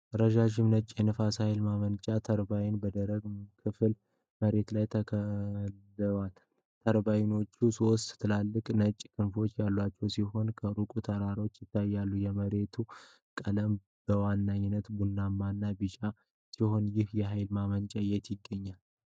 ረዣዥም ነጭ የንፋስ ኃይል ማመንጫ ተርባይኖች በደረቅና ክፍት መሬት ላይ ተክለዋል። ተርባይኖቹ ሦስት ትላልቅ ነጭ ክንፎች ያሏቸው ሲሆን፣ ከሩቅ ተራሮች ይታያሉ። የመሬቱ ቀለም በዋነኛነት ቡናማና ቢጫ ሲሆን፣ ይህ የኃይል ማመንጫ የት ይገኛል?